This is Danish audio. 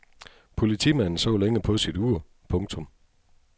Politimanden så længe på sit ur. punktum